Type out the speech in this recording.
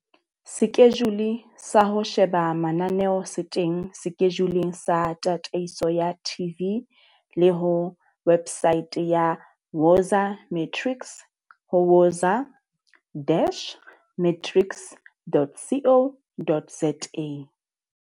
Sekejule sa ho sheba mananeo se teng sekejuleng sa tataiso ya TV le ho wepsaete ya Woza Matrics ho woza-matrics.co.za.